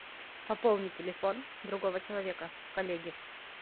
пополни телефон другого человека коллеги